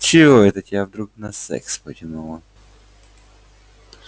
чего это тебя вдруг на секс потянуло